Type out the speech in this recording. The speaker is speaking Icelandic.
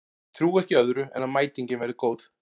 Ég trúi ekki öðru en að mætingin verði góð.